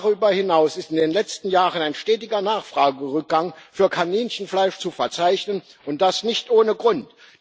Darüber hinaus ist in den letzten Jahren ein stetiger Nachfragerückgang für Kaninchenfleisch zu verzeichnen und das nicht ohne Grund.